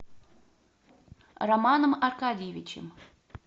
романом аркадьевичем